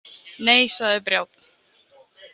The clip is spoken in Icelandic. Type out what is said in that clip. Nei, sagði Brjánn.